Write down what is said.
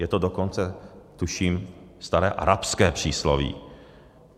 Je to dokonce, tuším, staré arabské přísloví.